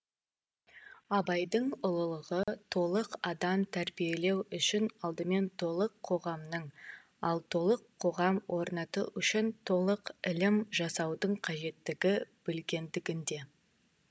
абайдың ұлылығы толық адам тәрбиелеу үшін алдымен толық қоғамның ал толық қоғам орнату үшін толық ілім жасаудың қажеттігін білгендігінде